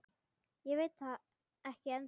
Ég veit það ekki ennþá.